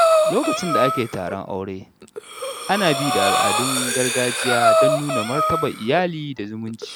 Lokacin da ake taron aure, ana bi da al’adun gargajiya don nuna martabar iyali da zumunci.